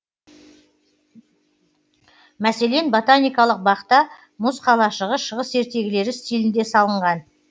мәселен ботаникалық бақта мұз қалашығы шығыс ертегілері стилінде салынған